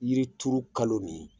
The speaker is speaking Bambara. Yiri turu kalo nin ye